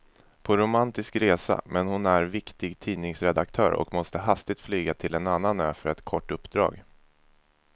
På romantisk resa, men hon är viktig tidningsredaktör och måste hastigt flyga till en annan ö för ett kort uppdrag.